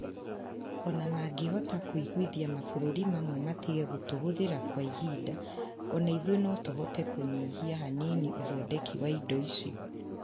O na mangĩhota kũiguithia mabũrũri mamwe matige gũtũhũthĩra kwa ihinda, o na ithuĩ no tũhote kũnyihia hanini ũthondeki wa indo icio.